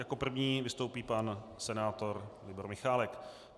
Jako první vystoupí pan senátor Libor Michálek.